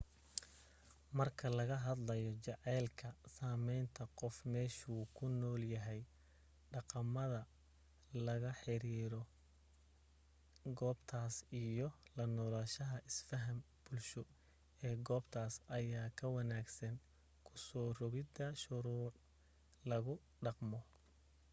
marka laga hadlayo jaceylka sameynta qofka meeshu ku nool yahay dhaqamada la xiriira goobtas iyo la noolashaha isfahan bulsho ee goobtas ayaa ka wanaagsan kusoo rogida shuruuc lagu dhaqmo